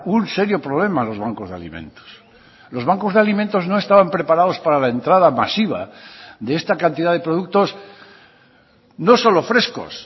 un serio problema a los bancos de alimentos los bancos de alimentos no estaban preparados para la entrada masiva de está cantidad de productos no solo frescos